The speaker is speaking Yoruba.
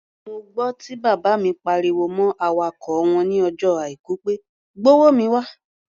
Mo gbọ́ tí bàbá mi pariwo mọ́ awakọ̀ wọn ní ọjọ́ Àìkú pé "gbówó mi wá!"